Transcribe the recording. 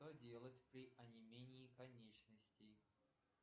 что делать при онемении конечностей